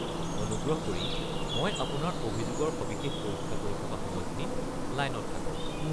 অনুগ্ৰহ কৰি মই আপোনাৰ অভিযোগৰ সবিশেষ পৰীক্ষা কৰি থকা সময়খিনি লাইনত থাকক।